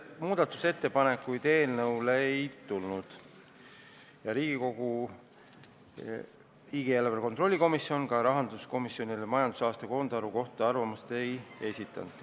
Muudatusettepanekuid ei tulnud ja Riigikogu riigieelarve kontrolli komisjon ka rahanduskomisjonile majandusaasta koondaruande kohta arvamust ei esitanud.